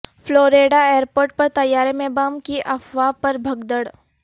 Florida airport پر طیارے میں بم کی افواہ پر بھگدڑ